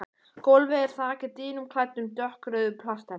Gólfið er þakið dýnum klæddum dökkrauðu plastefni.